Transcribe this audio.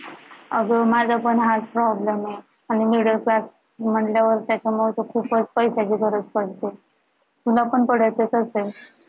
अगं माझा पण हाच problem आहे, आणि middle class म्हणल्यावर त्याच्यामध्ये तर खूपच पैशाची गरज पडते तुला पण पडतच असेल